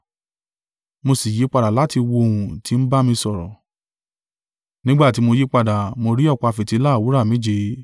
Mo sì yí padà láti wo ohùn tí ń bá mi sọ̀rọ̀. Nígbà tí mo yípadà, mo rí ọ̀pá fìtílà wúrà méje,